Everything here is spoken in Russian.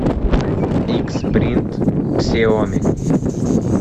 икс принт ксиоми